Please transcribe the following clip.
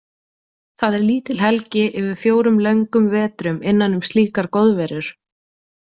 Það er lítil helgi yfir fjórum löngum vetrum innan um slíkar goðverur.